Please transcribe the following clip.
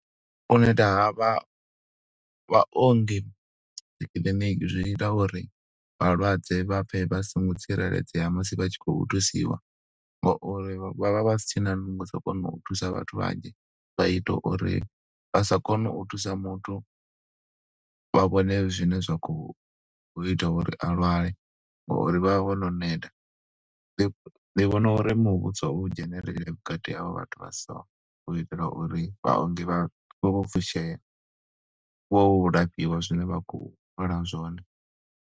U neta ha vha vhaongi dzikiḽiniki zwi ita uri vhalwadze vha pfe vha songo tsireledzea musi vha tshi khou thusiwa, ngauri vha vha vha si tshena nungo dza u kona u thusa vhathu vhanzhi. Vha ita uri vha sa kone u thusa muthu vha vhone zwine zwa khou ita uri a lwale, ngo uri vha vha vhono neta. Ndi vhona uri muvhuso u dzhenelele vhukati havho vhathu vha so, u itela uri vhaongi vha vhe vho fushea. Vho lafhiwa zwine vha khou lwala zwone.